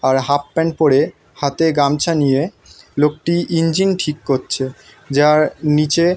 আর half pant পরে হাতে গামছা নিয়ে লোকটি ইঞ্জিন ঠিক করছে যার নীচে।